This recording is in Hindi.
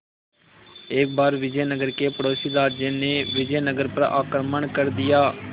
एक बार विजयनगर के पड़ोसी राज्य ने विजयनगर पर आक्रमण कर दिया